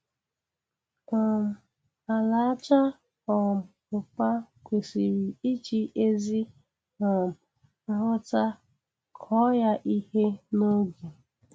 um Ala aja um ụpa kwesiri iji ezi um nghọta kọọ ya ihe n'oge.